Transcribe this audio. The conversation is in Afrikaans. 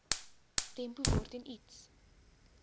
tempo waarteen iets